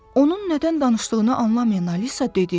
Onun nədən danışdığını anlamayan Alisa dedi.